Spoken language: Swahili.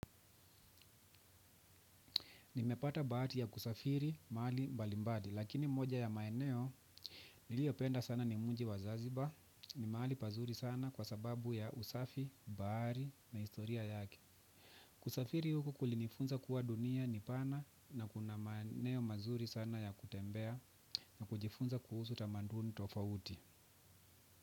Nimepata bahati ya kusafiri maali mbalimbali, lakini moja ya maeneo niliyopenda sana ni muji wa zanzibar, ni maali pazuri sana kwa sababu ya usafi, bahari na historia yaki. Kusafiri huku kulinifunza kuwa dunia ni pana na kuna maeneo mazuri sana ya kutembea na kujifunza kuhusu tamaduni tofauti.